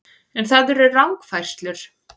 En það eru rangfærslur